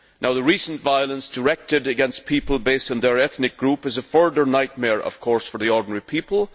The recent violence directed against people based on their ethnic group is a further nightmare for the ordinary people.